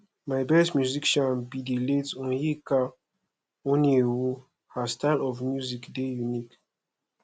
my best musician be the late onyeka onwenu her style of music dey unique